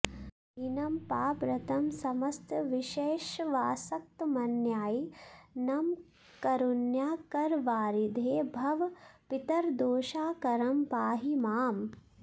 दीनं पापरतं समस्त विषयेष्वासक्तमन्यायिनं कारुण्याकरवारिधे भव पितर्दोषाकरं पाहि माम्